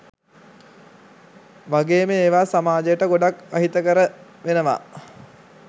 වගේම ඒවා සමාජයට ගොඩක් අහිතකර වෙනවා.